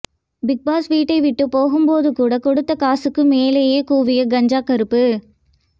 big பாஸை விட்டு போகும்போது கூட கொடுத்த காசுக்கு மேலேயே கூவிய கஞ்சா கருப்பு